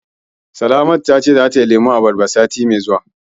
Salamatu ta ce zata yi lemun abarba sati mai zuwa.